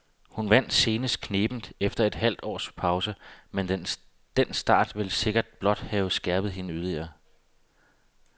Hun vandt senest knebent efter et halvt års pause, men den start vil sikkert blot have skærpet hende yderligere.